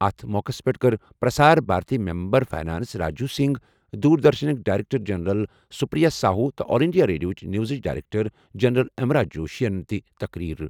اَتھ موقعَس پٮ۪ٹھ کٔر پرسار بھارتی ممبر فنانس راجیو سنگھ، دوردرشنٕک director general Supriya Sahu تہٕ آل انڈیا ریڈیو نیوزٕچ ڈائریکٹر جنرل امرا جوشی یَن تہِ تقریر۔